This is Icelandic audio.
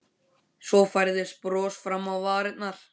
Svo færðist bros fram á varirnar.